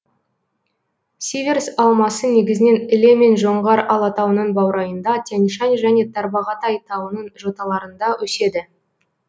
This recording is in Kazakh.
сиверс алмасы негізінен іле мен жоңғар алатауының баурайында тянь шань және тарбағатай тауының жоталарында өседі